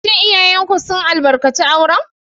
Shin iyayenku sun albarkaci auren?